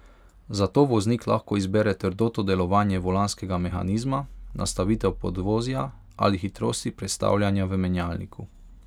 Zato voznik lahko izbere trdoto delovanja volanskega mehanizma, nastavitev podvozja ali hitrosti prestavljanja v menjalniku.